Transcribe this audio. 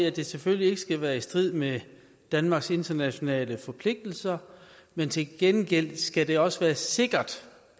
at det selvfølgelig ikke skal være i strid med danmarks internationale forpligtelser men til gengæld skal det også være sikkert